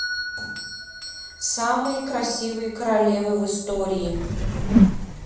самые красивые королевы в истории